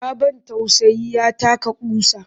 Ya ban tausayi ya taka ƙusa